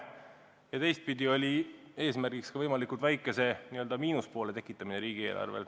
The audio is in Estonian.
Ja teistpidi on eesmärk võimalikult väikese miinuse tekitamine riigieelarvele.